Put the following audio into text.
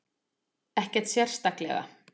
Ekkert sérstaklega.